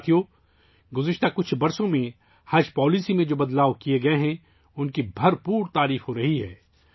ساتھیو ، گزشتہ چند سالوں میں حج پالیسی میں ، جو تبدیلیاں کی گئی ہیں، ان کو بہت سراہا جا رہا ہے